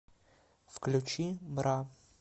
включи бра